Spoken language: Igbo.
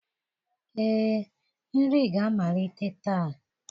Ee, nri ga-amalite taa.